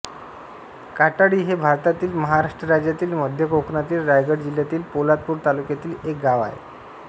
काटाळी हे भारतातील महाराष्ट्र राज्यातील मध्य कोकणातील रायगड जिल्ह्यातील पोलादपूर तालुक्यातील एक गाव आहे